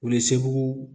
O ye segu